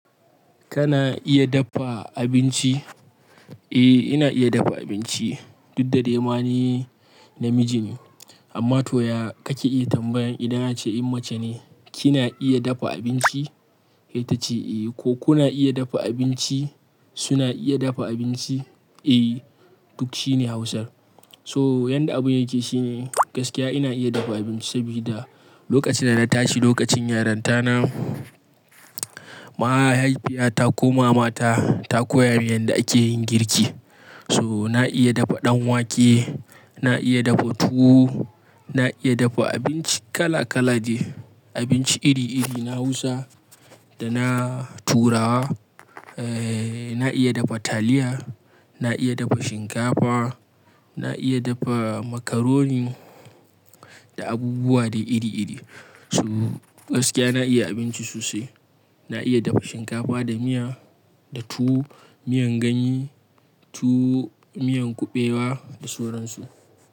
Kana iya dafa abinci? Eh ina iya dafa abinci, duk da dai ma ni namiji ne. Amma toya kake iya tambayan idan ace in mace ne, kina iya dafa abinci? Kai ta ce eh, ko kuna iya dafa abinci? Suna iya dafa abinci? Eh, duk shine Hausar. So yadda abun yake shine gaskiya ina iya dafa abinci sabida lokacin da na tashi lokacin yaranta na, mahaifiyata ko mamata ta koya min yadda ake yin girki. To na iya dafa ɗan wake, na iya dafa tuwo, na iya dafa abinci kala kala deh, abinci iri iri na Hausa da na turawa, eh na iya dafa taliya, na iya dafa shinkafa, na iya dafa macaroni da abubuwa dai iri iri. To gaskiya na iya abinci sosai. Na iya dafa shinkafa da miya, da tuwo, miyan ganye, tuwo, miyan kuɓewa da sauransu.